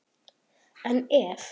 En ef?